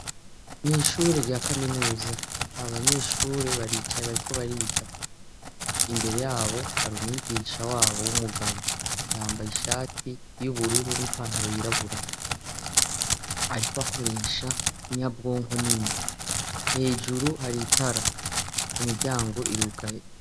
Mw'ishure rya kaminuza abanyeshure baricaye bariko bariga. Imbere yabo hari umwigisha wabo w'umugabo yambaye ishati y'ubururu n'ipantaro yirabura. Ariko akoresha inyabwonko nini hejuru hari utara imiryango irugaye.